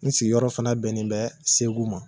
N sigiyɔrɔ fɛnɛ bɛnnen bɛ segu ma